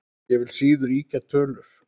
Ég vil síður ýkja tölur.